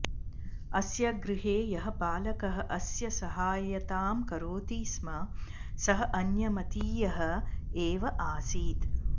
अस्य गृहे यः बालकः अस्य सहायतां करोति स्म सः अन्यमतीयः एव आसीत्